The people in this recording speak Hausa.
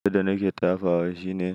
Abunda nake tafawa shine,